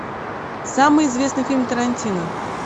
самый известный фильм тарантино